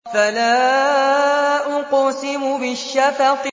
فَلَا أُقْسِمُ بِالشَّفَقِ